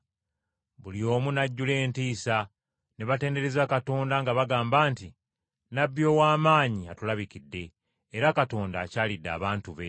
Buli omu n’ajjula entiisa, ne batendereza Katonda nga bagamba nti, “Nnabbi ow’amaanyi atulabikidde, era Katonda akyalidde abantu be.”